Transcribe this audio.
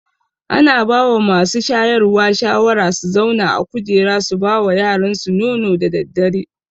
Ana bawa masu shayarwa shawara su zauna a kujera su bawa yaransu nono da daddare